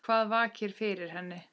Hvað vakir fyrir henni?